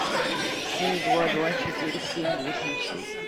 семь два два четыре семь восемь шесть